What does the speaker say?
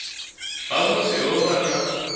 ha musi ho vha na